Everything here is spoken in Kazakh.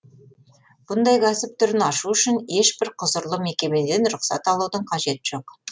бұндай кәсіп түрін ашу үшін ешбір құзырлы мекемеден рұқсат алудың қажеті жоқ